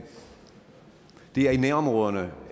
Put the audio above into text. det er i nærområderne